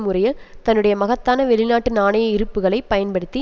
முறையில் தன்னுடைய மகத்தான வெளிநாட்டு நாணய இருப்புக்களைப் பயன்படுத்தி